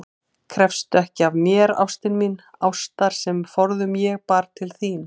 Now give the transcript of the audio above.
Krefstu ekki af mér, ástin mín, ástar sem forðum ég bar til þín.